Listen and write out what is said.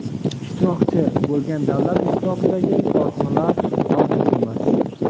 ishtirokchi) bo‘lgan davlat ishtirokidagi korxonalar mavjud emas.